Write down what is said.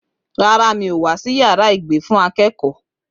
Rárá, mi ò wá sí yàrá ìgbé fún akẹ́kọ̀ọ́.